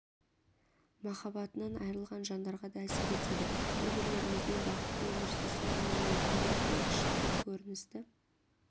махаббатынан айырылған жандарға да әсер етеді бір-бірлеріңізбен бақытты өмір сүрсін деген ниетпен осындай кішігірім көріністі